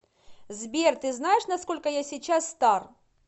сбер ты знаешь на сколько я сейчас стар